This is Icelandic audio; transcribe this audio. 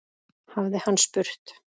hafði hann spurt.